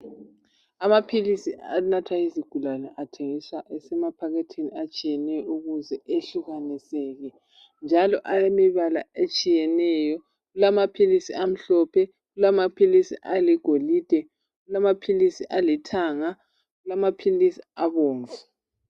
amaphilisi anathwa yizigulane athengiswa esemaphakethini atshiyeneyo ukuze ahlukaniseke njalo alemibala etshiyeneyo kulamaphilisi amhlophe kulamaphilisi aligolide kulaphili alithanga kulamaphilisi abomvu